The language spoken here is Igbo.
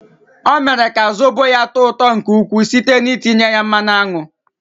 Ọ mere ka zobo ya tọọ ụtọ nke ukwuu site n'itinye ya mmanụ aṅụ.